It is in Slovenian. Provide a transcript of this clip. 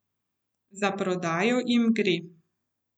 Za prodajo jim gre.